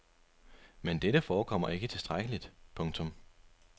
Men dette forekommer ikke tilstrækkeligt. punktum